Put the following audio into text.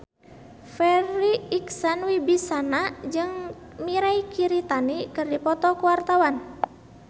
Farri Icksan Wibisana jeung Mirei Kiritani keur dipoto ku wartawan